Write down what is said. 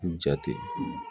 Jate